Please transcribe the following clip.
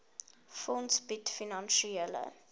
fonds bied finansiële